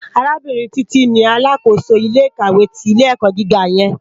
Arábìrín Titi ni àlákósó ilé ikáwé ti ilé èkò gigá yèn